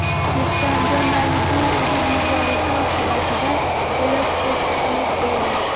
Rishtonda Malibu urib yuborishi oqibatida velosipedchi halok bo‘ldi.